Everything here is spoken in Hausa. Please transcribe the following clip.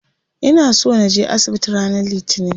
Ina so naje asibiti ranar litinin.